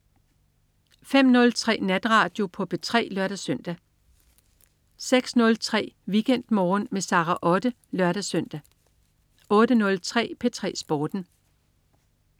05.03 Natradio på P3 (lør-søn) 06.03 WeekendMorgen med Sara Otte (lør-søn) 08.03 P3 Sporten